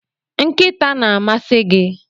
Nkịta na-amasị gị